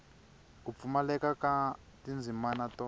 ku pfumaleka ka tindzimana to